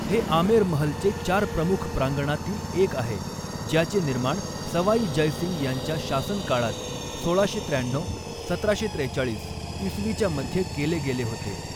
हे आमेर महल चे चार प्रमुख प्रांगणातील एक आहे ज्याचे निर्माण सवाई जय सिंह यांच्या शासनकाळात सोळाशे त्र्याण्णऊ सतराशे त्रेचाळीस इसवीच्या मध्ये केले गेले होते.